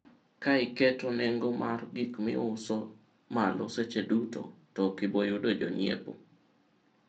ukipandisha bei ya bidhaa kila wakati hutapata wateja